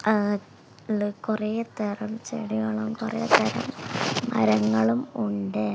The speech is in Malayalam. ആഹ് കുറേ തരം ചെടികളും കുറെ തരം മരങ്ങളും ഉണ്ട്.